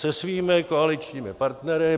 Se svými koaličními partnery.